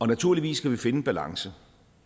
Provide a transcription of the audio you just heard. naturligvis skal vi finde en balance